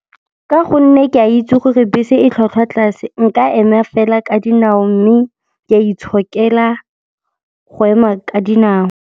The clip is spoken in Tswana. Ka gonne ke a itse gore bese e tlhwatlhwa-tlase, nka ema fela ka dinao mme ke a itshokela go ema ka dinao.